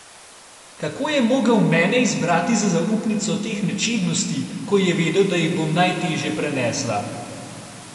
Kako je mogel mene izbrati za zaupnico teh nečednosti, ko je vedel, da jih bom najtežje prenesla?